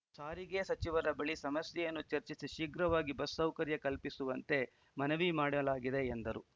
ಸಾರಿಗೆ ಸಚಿವರ ಬಳಿ ಸಮಸ್ಯೆಯನ್ನು ಚರ್ಚಿಸಿ ಶೀಘ್ರವಾಗಿ ಬಸ್‌ ಸೌಕರ್ಯ ಕಲ್ಪಿಸುವಂತೆ ಮನವಿ ಮಾಡಲಾಗಿದೆ ಎಂದರು